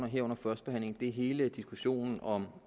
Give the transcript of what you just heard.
her under første behandling og det er hele diskussionen om